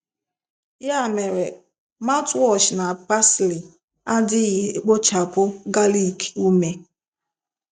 Ya mere mouthwash na pasili adịghị ekpochapụ garlic ume.